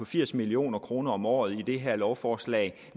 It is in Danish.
firs million kroner om året i det her lovforslag